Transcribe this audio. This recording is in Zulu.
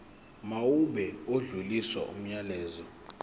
mawube odlulisa umyalezo